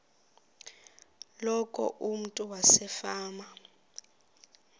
loku umntu wasefama